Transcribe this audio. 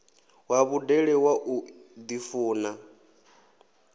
wa vhudele wa u ḓifuna